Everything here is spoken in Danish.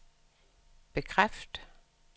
bekræft